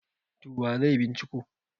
to wa zai binciko